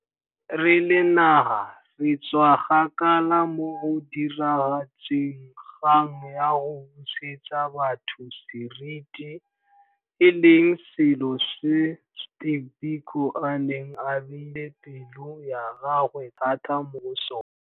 Re le naga re tswa kgakala mo go diragatseng kgang ya go busetsa batho seriti, e leng selo se Steve Biko a neng a beile pelo ya gagwe thata mo go sona.